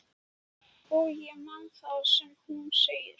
Og ég man það sem hún segir.